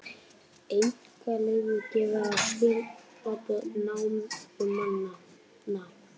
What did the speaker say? Einkaleyfi gefið á skilaboð námumannanna